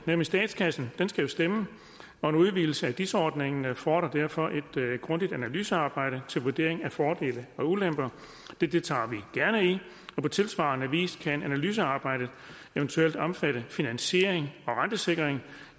men statskassen skal jo stemme og en udvidelse af dis ordningen fordrer derfor et grundigt analysearbejde til vurdering af fordele og ulemper det deltager vi gerne i på tilsvarende vis kan analysearbejdet eventuelt omfatte finansiering og rentesikring